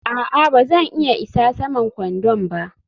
a'a, ba zan iya isa saman kwandon ba